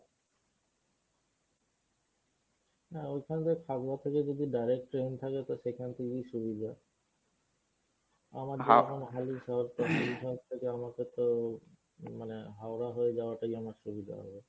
না ঐখান দেখ খাগড়া